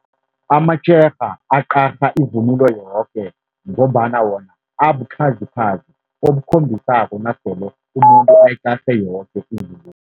Amatshega aqarha ivunulo yoke, ngombana wona abukhazikhazi obukhombisako nasele umuntu ayiqarhe yoke ivunulo.